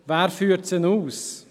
Wer führt diese aus?